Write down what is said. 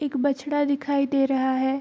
एक बछड़ा दिखाई दे रहा है।